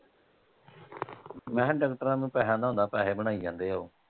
ਮੈਂ ਕਿਹਾ ਡਾਕਟਰਾਂ ਨੂੰ ਪੈਸਿਆਂ ਦਾ ਹੁੰਦਾ ਪੈਸੇ ਬਣਾਈ ਜਾਂਦੇ ਓਹ।